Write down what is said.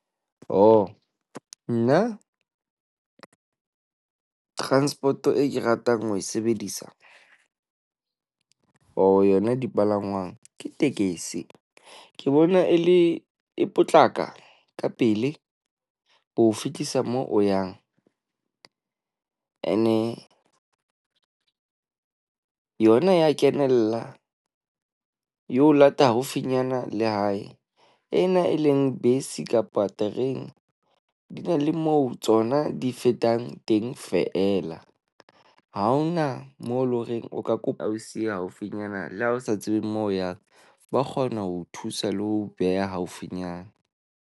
Oh, nna transport eo ke ratang ho e sebedisa, or yona dipalangwang ke tekesi. Ke bona e le e potlaka ka pele ho fetisa moo o yang. Ene yona e a kenella, e o lata haufinyana le hae. Ena e leng bese kapa terene di na le moo tsona di fetang teng feela. Ha hona moo e leng horeng o ka kopa o siya haufinyana. Le ha o sa tsebeng moo o yang ba kgona ho o thusa le ho beha haufinyana.